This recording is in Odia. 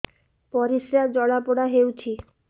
ପରିସ୍ରା ଜଳାପୋଡା ହଉଛି